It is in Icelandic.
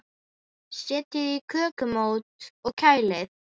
Setjið í kökumót og kælið.